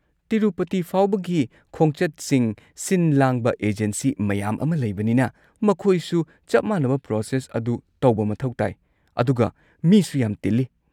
ꯇꯤꯔꯨꯄꯇꯤ ꯐꯥꯎꯕꯒꯤ ꯈꯣꯡꯆꯠꯁꯤꯡ ꯁꯤꯟ-ꯂꯥꯡꯕ ꯑꯦꯖꯦꯟꯁꯤ ꯃꯌꯥꯝ ꯑꯃ ꯂꯩꯕꯅꯤꯅ, ꯃꯈꯣꯏꯁꯨ ꯆꯞ ꯃꯥꯟꯅꯕ ꯄ꯭ꯔꯣꯁꯦꯁ ꯑꯗꯨ ꯇꯧꯕ ꯃꯊꯧ ꯇꯥꯏ, ꯑꯗꯨꯒ ꯃꯤꯁꯨ ꯌꯥꯝ ꯇꯤꯜꯂꯤ꯫